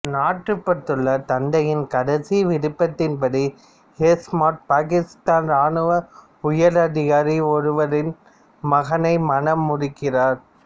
நாட்டுப்பற்றுள்ள தந்தையின் கடைசி விருப்பத்தின்படி ஷெஹ்மத் பாகிஸ்தான் ராணுவ உயர் அதிகாரி ஒருவரின் மகனை மணமுடிக்கிறார்